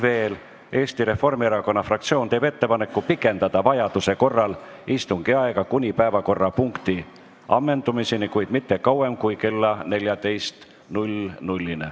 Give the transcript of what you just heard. Veel, Eesti Reformierakonna fraktsioon teeb ettepaneku pikendada vajaduse korral istungi aega kuni päevakorrapunkti ammendumiseni, kuid mitte kauem kui kella 14-ni.